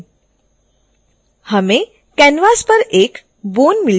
हमें canvas पर एक bone मिल जाती है